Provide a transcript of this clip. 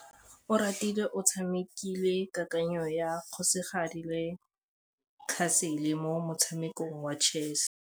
Oratile o tshamekile kananyô ya kgosigadi le khasêlê mo motshamekong wa chess.